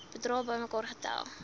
bedrae bymekaar tel